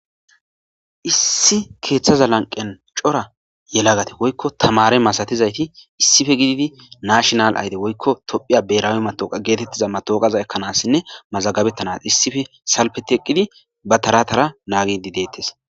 Issi keeththaza lanqen cora yelagate woykko tamare masatizayti issife gididi naashinal ayde woykko tophiya berawe matooqa geetettiza matooqaza ekkanassinne mazagabettanas issife salpe teqqidi ba taratara naagidi deettes.